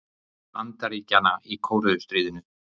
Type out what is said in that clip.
Bandaríkjanna í Kóreustríðinu.